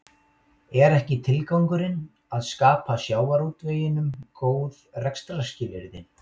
Er ekki tilgangurinn að skapa sjávarútveginum góð rekstrarskilyrði?